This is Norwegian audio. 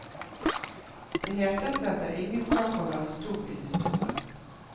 Det heter seg at det er ingen sak å være stor i det store.